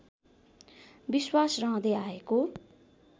विश्वास रहँदै आएको